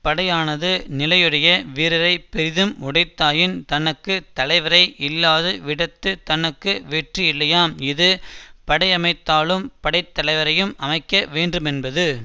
படையானது நிலையுடைய வீரரை பெரிது உடைத்தாயின் தனக்கு தலைவரை இல்லாத விடத்துத் தனக்கு வெற்றியில்லையாம் இது படையமைத்தாலும் படைத்தலைவரையும் அமைக்க வேண்டுமென்பது